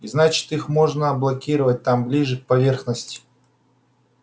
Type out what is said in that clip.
и значит их можно блокировать там ближе к поверхности